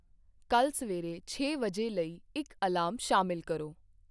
ਕੱਲ ਸਵੇਰੇ ਛੇ ਵਜੇ ਲਈ ਇੱਕ ਅਲਾਰਮ ਸ਼ਾਮਿਲ ਕਰੋ।